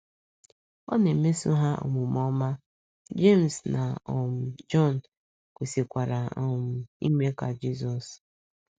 Ọ na - emeso ha omume ọma, Jems na um Jọn kwesịkwara um ime ka Jizọs.